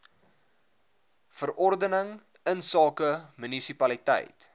verordening insake munisipaliteit